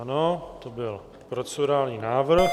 Ano, to byl procedurální návrh.